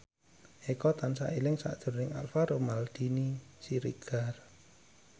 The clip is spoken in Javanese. Eko tansah eling sakjroning Alvaro Maldini Siregar